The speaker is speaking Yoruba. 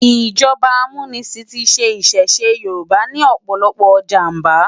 ijọba ámúnisin ti ṣẹ̀ ìṣẹ̀ṣe yórùbá ni òpòlòpò ijámbá